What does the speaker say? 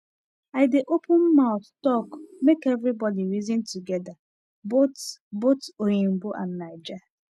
i dey open mouth talk make everybody reason together both both oyinbo and naija